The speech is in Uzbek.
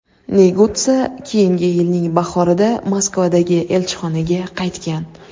Negutsa keyingi yilning bahorida Moskvadagi elchixonaga qaytgan.